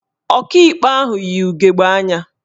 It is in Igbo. Ọkaikpe ahụ yi ugegbe anya